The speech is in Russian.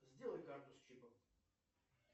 сделай карту с чипом